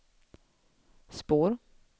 spår